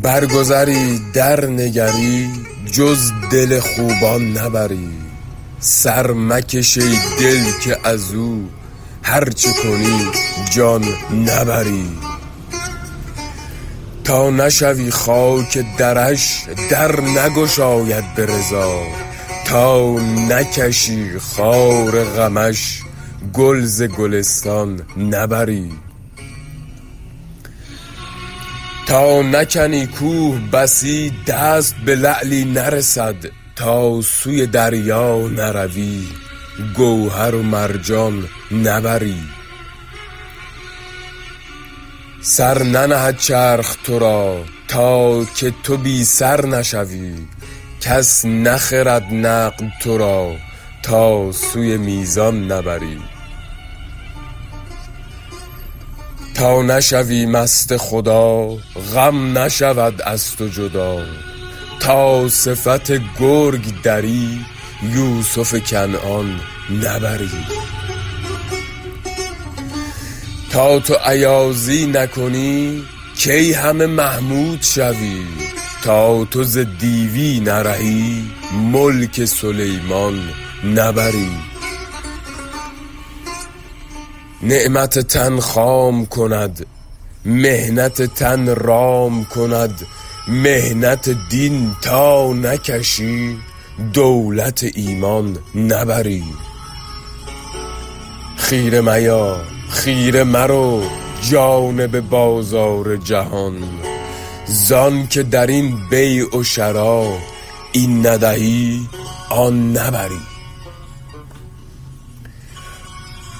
برگذری درنگری جز دل خوبان نبری سر مکش ای دل که از او هر چه کنی جان نبری تا نشوی خاک درش در نگشاید به رضا تا نکشی خار غمش گل ز گلستان نبری تا نکنی کوه بسی دست به لعلی نرسد تا سوی دریا نروی گوهر و مرجان نبری سر ننهد چرخ تو را تا که تو بی سر نشوی کس نخرد نقد تو را تا سوی میزان نبری تا نشوی مست خدا غم نشود از تو جدا تا صفت گرگ دری یوسف کنعان نبری تا تو ایازی نکنی کی همه محمود شوی تا تو ز دیوی نرهی ملک سلیمان نبری نعمت تن خام کند محنت تن رام کند محنت دین تا نکشی دولت ایمان نبری خیره میا خیره مرو جانب بازار جهان ز آنک در این بیع و شری این ندهی آن نبری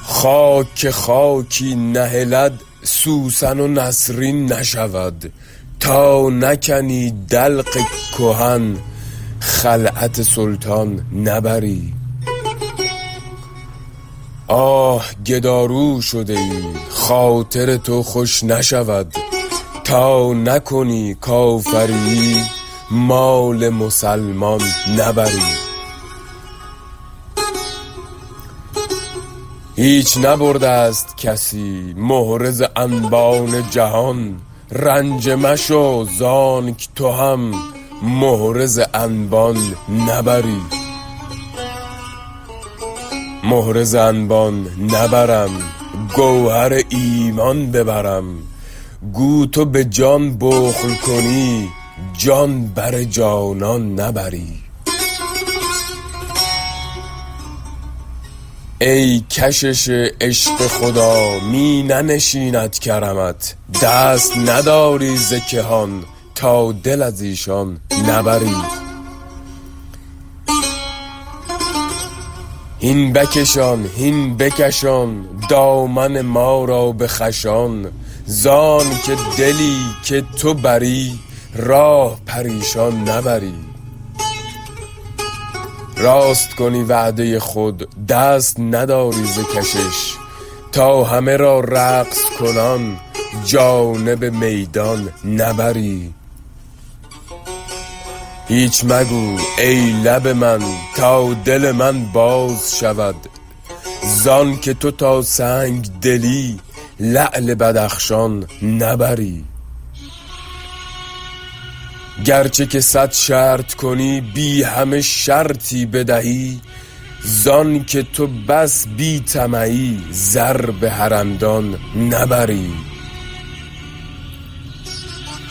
خاک که خاکی نهلد سوسن و نسرین نشود تا نکنی دلق کهن خلعت سلطان نبری آه گدارو شده ای خاطر تو خوش نشود تا نکنی کافریی مال مسلمان نبری هیچ نبرده ست کسی مهره ز انبان جهان رنجه مشو ز آنک تو هم مهره ز انبان نبری مهره ز انبان نبرم گوهر ایمان ببرم گو تو به جان بخل کنی جان بر جانان نبری ای کشش عشق خدا می ننشیند کرمت دست نداری ز کهان تا دل از ایشان نبری هین بکشان هین بکشان دامن ما را به خوشان ز آنک دلی که تو بری راه پریشان نبری راست کنی وعده خود دست نداری ز کشش تا همه را رقص کنان جانب میدان نبری هیچ مگو ای لب من تا دل من باز شود ز آنک تو تا سنگ دلی لعل بدخشان نبری گرچه که صد شرط کنی بی همه شرطی بدهی ز آنک تو بس بی طمعی زر به حرمدان نبری